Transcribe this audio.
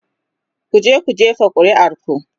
"kuje ku jefa ƙuri'ar ku!